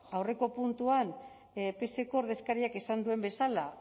aurreko puntuan pseko ordezkariak esan duen bezala